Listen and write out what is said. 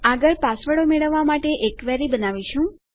આગળ પાસવર્ડો મેળવવા માટે એક ક્વેરી બનાવીશું